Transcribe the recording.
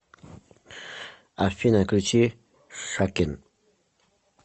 афина включи шакен